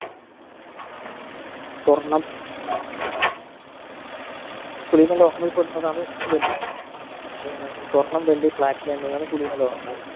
സ്വർണ്ണം കുലീന ലോഹങ്ങളിൽ പെടുന്നതാണ് വെള്ളി ഏർ സ്വർണ്ണം വെള്ളി platinum എന്നിവയാണ് കുലീന ലോഹങ്ങൾ